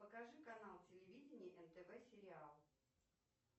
покажи канал телевидения нтв сериал